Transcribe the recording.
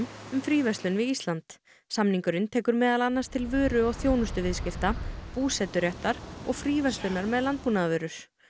um fríverslun við Ísland samningurinn tekur meðal annars til vöru og þjónustuviðskipta og fríverslunar með landbúnaðarvörur